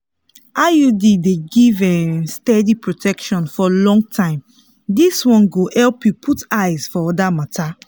iud dey give um steady protection for long time this one go help you put eyes for other matters.